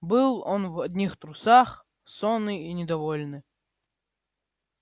был он в одних трусах сонный и недовольный